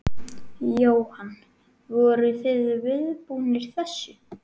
Jóhann: Voruð þið viðbúnir þessu?